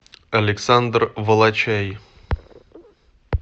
александр волочай